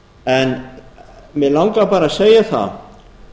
en mig langar bara að segja það